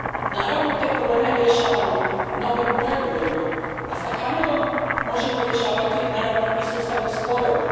Naravno, te probleme rješavamo novim pregovorima, a s Kanadom ih možemo rješavati i sustavom sporova.